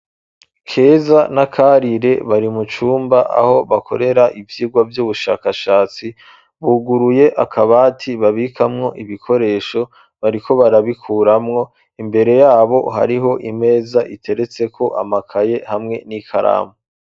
Keza na Kakarire, bari mu cumba, aho bakorera ivyigwa, vy'ubushakashatsi; buguruye akabati, babikamwo ibikoresho, bariko, barabikuramwo; imbere y’abo, hariho imeza, iteretseko amakaye, hamwe n'ikaramu.